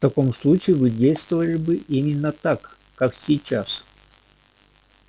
в таком случае вы действовали бы именно так как сейчас